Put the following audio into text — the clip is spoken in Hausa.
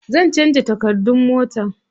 Zan canza takardun mota.